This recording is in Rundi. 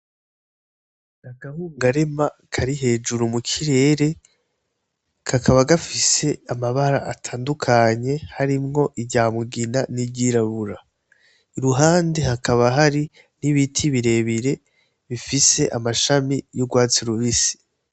Agahungarema kari hejuru mukirere kakaba gafise amabara atandukanye harimwo iryamugina n'iryirabura i ruhande hakaba hari n'ibiti birebire bifise amashami y'urwatsi rubisi.